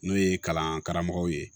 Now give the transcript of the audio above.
N'o ye kalan karamɔgɔw ye